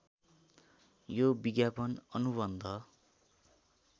यो विज्ञापन अनुबन्ध